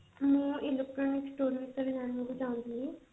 ମୁଁ electronic store ବିଷୟରେ ଜାଣିବାକୁ ଚାହୁଁଥିଲି